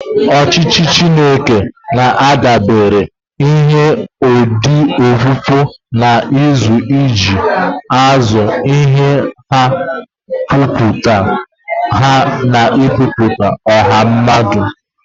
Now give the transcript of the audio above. Ọchịchị Chineke na-adabere n'ihe odide okpukpe na nkuzi iji kpụzie iwu ha, ụkpụrụ ha, na ụkpụrụ ọha mmadụ.